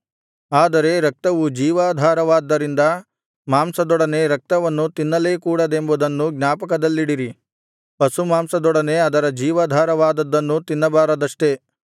ಆದರೆ ರಕ್ತವು ಜೀವಾಧಾರವಾದ್ದರಿಂದ ಮಾಂಸದೊಡನೆ ರಕ್ತವನ್ನು ತಿನ್ನಲೇ ಕೂಡದೆಂಬುದನ್ನು ಜ್ಞಾಪಕದಲ್ಲಿಡಿರಿ ಪಶುಮಾಂಸದೊಡನೆ ಅದರ ಜೀವಾಧಾರವಾದದ್ದನ್ನೂ ತಿನ್ನಬಾರದಷ್ಟೆ